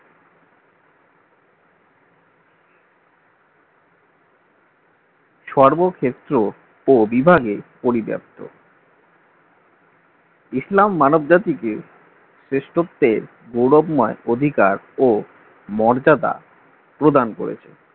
সর্বক্ষেত্র পো-বিভাগে পরিব্যপ্ত ইসলাম মানব জাতিকে শ্রেষ্ঠত্বের দুর্লভ ময় অধিকার ও মর্যাদা প্রদান করেছে